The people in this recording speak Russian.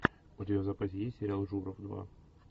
у тебя в запасе есть сериал журов два